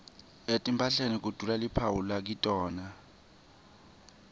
etimphahleni kudula luphawu lakitona